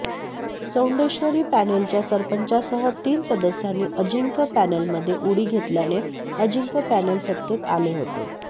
चौंडेश्वरी पॅनेलच्या सरपंचासह तीन सदस्यांनी अजिंक्य पॅनेलमध्ये उडी घेतल्याने अजिंक्य पॅनेल सत्तेत आले होते